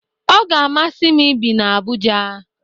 Ọ ga-amasị m ibi na Abuja